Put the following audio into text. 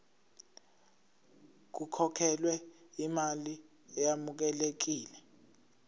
kukhokhelwe imali eyamukelekile